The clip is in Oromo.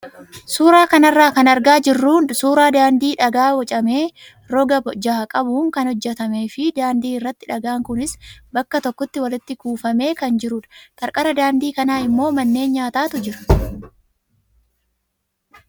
Suuraa kanarraa kan argaa jirru suuraa daandii dhagaa bocamee roga jaha qabuun kan hojjatamee fi daandii irratti dhagaan kunis bakka tokkotti walitti kuufamee kan jirudha. Qarqara daandii kanaa immoo manneen nyaataatu jira.